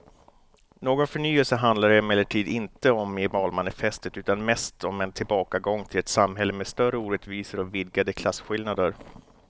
Någon förnyelse handlar det emellertid inte om i valmanifestet utan mest om en tillbakagång till ett samhälle med större orättvisor och vidgade klasskillnader.